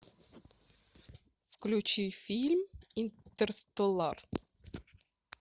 включи фильм интерстеллар